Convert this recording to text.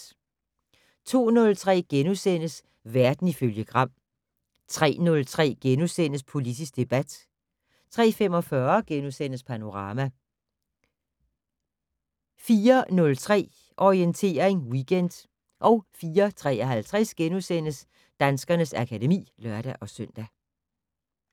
02:03: Verden ifølge Gram * 03:03: Politisk debat * 03:45: Panorama * 04:03: Orientering Weekend 04:53: Danskernes akademi *(lør-søn)